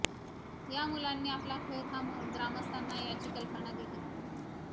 या मुलांनी आपला खेळ थांबवून ग्रामस्थांना याची कल्पना दिली